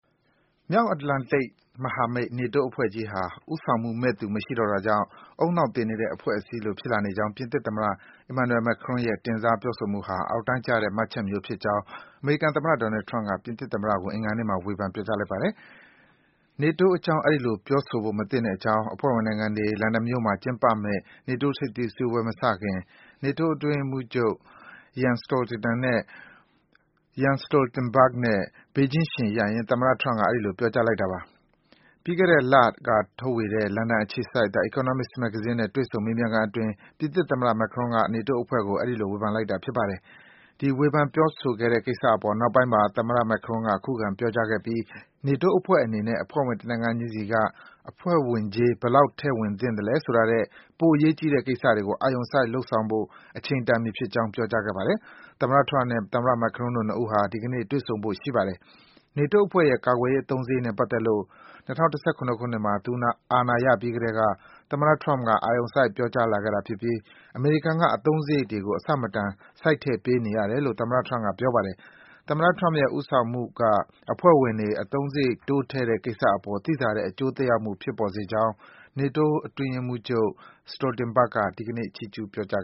မြောက်အတ္တလန်တိတ်မဟာမိတ် နေတိုးအဖွဲ့ကြီးဟာ ဦးဆောင်မှုမယ့်သူ မရှိတော့တာကြောင့် ဦးနှောက်သေနေတဲ့ အဖွဲ့အစည်းလို ဖြစ်လာနေကြောင်း ပြင်သစ်သမ္မတ Emmanuel Macron ရဲ့ တင်စား ပြောဆိုမှုဟာ အောက်တန်းကျတဲ့ မှတ်ချက်မျိုးဖြစ်ကြောင်း အမေရိကန်သမ္မတ Donald Trump က ပြင်သစ်သမ္မတကို အင်္ဂါနေ့မှာ ဝေဖန် ပြောကြားလိုက်ပါတယ်။ နေတိုးအကြောင်း အဲဒီလို ပြောဆိုဖို့မသင့်ကြောင်း အဖွဲ့ဝင်နိုင်ငံတွေ လန်ဒန်မြို့မှာ ကျင်းပမယ့် နေတိုးထိပ်သီးစည်းဝေးပွဲမစခင် နေတိုးအဖွဲ့ အတွင်းရေးမှူးချုပ် Jens Stoltenberg နဲ့ ဘေးချင်းယှဉ်ရပ်ရင်း သမ္မတ Trump က အဲဒီလို ပြောကြားလိုက်တာပါ။ ပြီးခဲ့တဲ့ လက ထုတ်ဝေတဲ့ လန်ဒန်အခြေစိုက် The Economist မဂ္ဂဇင်းနဲ့ တွေ့ဆုံ မေးမြန်းခန်းအတွင်း ပြင်သစ်သမ္မတ Macron က နေတိုးအဖွဲ့ကို အဲဒီလို ဝေဖန်လိုက်တာပါ။ အဲဒီလို ဝေဖန် ပြောဆိုခဲ့တဲ့ကိစ္စအပေါ် နောက်ပိုင်းမှာ သမ္မတ Macron က ခုခံ ပြောဆိုခဲ့ပြီး နေတိုးအဖွဲ့အနေနဲ့ အဖွဲ့ဝင် တနိုင်ငံချင်းစီက အဖွဲ့ဝင်ကြေး ဘယ်လောက်ထည့်ဝင်သလဲဆိုတာထက် ပိုအရေးကြီးတဲ့ ကိစ္စရပ်တွေကို အာရုံစိုက် လုပ်ဆောင်ဖို့ အချိန်တန်ပြီဖြစ်ကြောင်း ပြောကြားခဲ့ပါတယ်။ သမ္မတ Trump နဲ့ သမ္မတ Macron တို့ ၂ ဦးဟာ ဒီကနေ့ တွေ့ဆုံဖို့ ရှိပါတယ်။ နေတိုးအဖွဲ့ရဲ့ ကာကွယ်ရေး အသုံးစားရိတ်နဲ့ ပတ်သက်လို့ ၂၀၁၇ ခုနှစ်မှာ သူအာဏာရပြီးကတည်းက သမ္မတ Trump က အာရုံစိုက် ပြောဆိုလာခဲ့တာဖြစ်ပြီး အမေရိကန်က အသုံးစားရိတ်တွေကို အဆမတန် စိုက်ထည့်ပေးနေရတယ်လို့ ပြောပါတယ်။ သမ္မတ Trump ရဲ့ ဦးဆောင်မှုက အဖွဲ့ဝင်တွေ အသုံးစားရိတ် တိုးထည့်တဲ့ကိစ္စအပေါ် သိသာတဲ့ အကျိုးသက်ရောက်မှု ဖြစ်ပေါ်စေကြောင့် နေတိုး အတွင်းရေးမှူးချုပ် Jens Stoltenberg က ဒီကနေ့ ချီးကျူး ပြောကြား